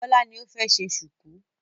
Bọ́lá ni ó fẹ́ ṣe ṣùkú.